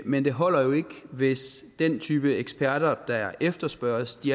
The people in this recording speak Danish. men det holder jo ikke hvis den type eksperter der efterspørges